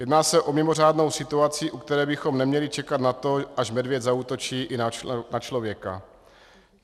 Jedná se o mimořádnou situaci, u které bychom neměli čekat na to, až medvěd zaútočí i na člověka.